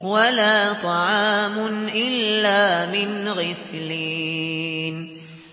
وَلَا طَعَامٌ إِلَّا مِنْ غِسْلِينٍ